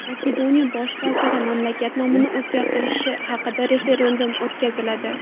Makedoniya bosh vaziri: Mamlakat nomini o‘zgartirish haqida referendum o‘tkaziladi.